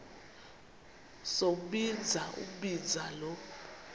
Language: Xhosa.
sombinza umbinza lo